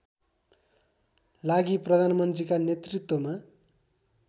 लागि प्रधानमन्त्रीका नेतृत्‍वमा